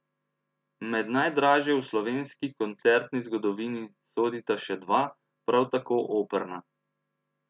Med najdražje v slovenski koncertni zgodovini sodita še dva, prav tako operna.